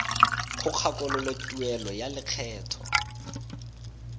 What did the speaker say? go kgakololo tuelo ya lekgetho